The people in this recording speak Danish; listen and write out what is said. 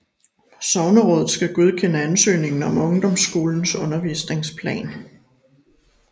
Sognerådet skal godkende ansøgningen om ungdomsskolens undervisningsplan